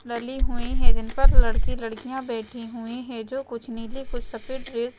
नली हुई है जिन पर लड़के लड़कियाँ बैठी हुई है जो कुछ नीले कुछ सफेद ड्रेस --